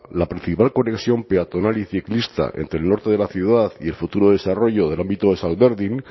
la principal conexión peatonal y ciclista entre el norte de la ciudad y el futuro desarrollo del ámbito de salberdin